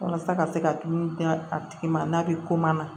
Walasa ka se ka tulu di a tigi ma n'a bɛ ko ma na